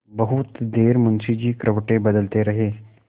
बहुत देर मुंशी जी करवटें बदलते रहे